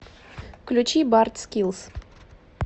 включи барт скилс